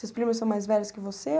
Seus primos são mais velhos que você?